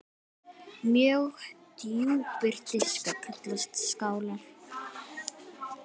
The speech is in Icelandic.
Mjög djúpir diskar kallast skálar.